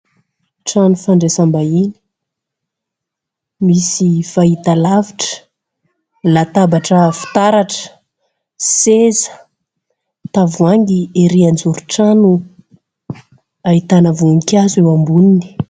Trano fandraisam-bahiny, misy fahita lavitra, latabatra fitaratra, seza, tavoahangy erỳ anjoron-trano, ahitana voninkazo eo amboniny.